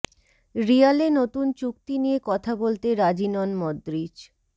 রিয়ালে নতুন চুক্তি নিয়ে কথা বলতে রাজি নন মদ্রিচ